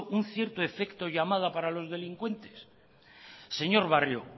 un cierto efecto llamada para los delincuentes señor barrio